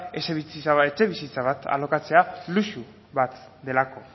etxebizitza bat alokatzea luxu bat delako